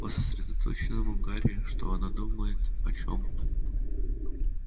по сосредоточенному гарри что она думает о чём